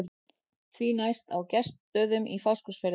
Því næst á Gestsstöðum í Fáskrúðsfirði.